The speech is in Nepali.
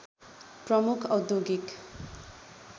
प्रमुख औद्योगिक